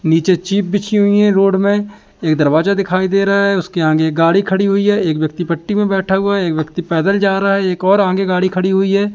नीचे चिप बिछी हुई हैं रोड में एक दरवाजा दिखाई दे रहा है उसके आगे एक गाड़ी खड़ी हुई है एक व्यक्ति पट्टी में बैठा हुआ है एक व्यक्ति पैदल जा रहा है एक और आगे गाड़ी खड़ी हुई है।